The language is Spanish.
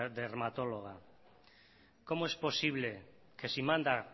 dermatóloga cómo es posible que si manda